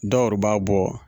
Dɔw ru b'a bɔ